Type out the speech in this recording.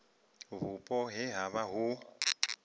vhupo he ha vha hu